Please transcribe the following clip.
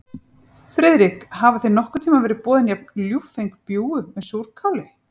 Friðrik, hafa þér nokkurn tíma verið boðin jafn ljúffeng bjúgu með súrkáli?